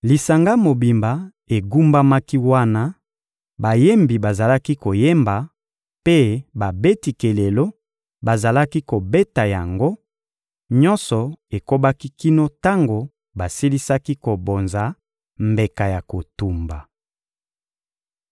Lisanga mobimba egumbamaki wana; bayembi bazalaki koyemba, mpe babeti kelelo bazalaki kobeta yango; nyonso ekobaki kino tango basilisaki kobonza mbeka ya kotumba.